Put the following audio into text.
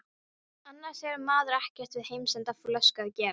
Annars hefur maður ekkert við heimsenda flösku að gera.